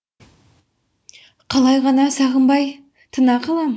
қалай ғана сағынбай тына қалам